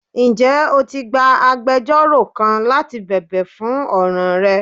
Njẹ o ti gbà àgbẹjọró kán láti bẹbẹ fún ọran rẹ?